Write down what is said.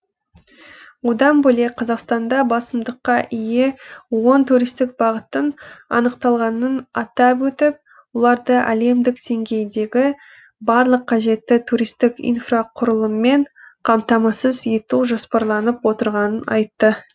одан бөлек қазақстанда басымдыққа ие он туристік бағыттың анықталғанын атап өтіп оларды әлемдік деңгейдегі барлық қажетті туристік инфрақұрылыммен қамтамасыз ету жоспарланып отырғанын айтты